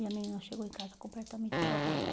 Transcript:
E a menina chegou em casa completamente drogada.